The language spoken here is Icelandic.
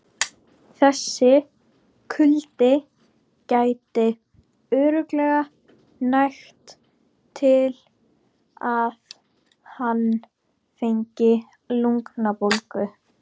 Þessi kuldi gæti örugglega nægt til að hann fengi lungnabólgu.